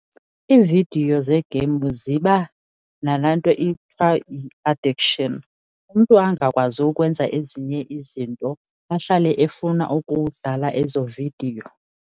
Iividiyo zee-games ziba nalanto kuthiwa yi-addiction, umntu angakwazi ukwenza ezinye izinto ahlale efuna ukudlala ezo vidiyo.